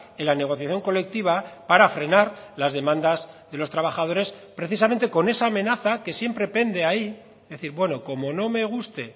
en la negociación colectiva para frenar las demandas de los trabajadores precisamente con esa amenaza que siempre pende ahí es decir bueno como no me guste